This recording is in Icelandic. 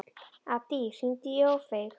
Addý, hringdu í Ófeig.